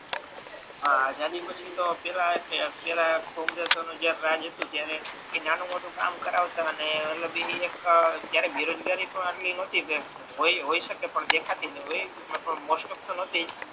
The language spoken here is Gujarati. આઝાદી પછી તો પેહલા એ ટે પેહલા કોંગ્રેસઓ નું રાજ હતુ ત્યારે એ નાનુ મોટુ કામ કરાવતા અને મતલબ એ કે ત્યારે બેરોજગારી પણ આટલી નહતી પણ હોય શકે તો દેખાતી નથી પણ મોસ્ટઓફ તો નતી જ